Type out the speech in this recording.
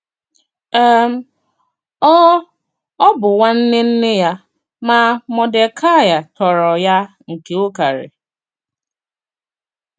um Ọ Ọ bụ́ nwànnè nnè ya, mà Mọ̀dèkàị tọ̀rò ya nke ùkàrì.